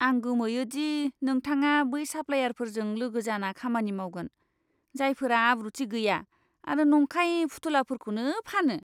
आं गोमोयो दि नोंथाङा बै साप्लायारफोरजों लोगो जाना खामानि मावगोन, जायफोरा आब्रुथि गैया आरो नंखाय फुथुलाफोरखौनो फानो!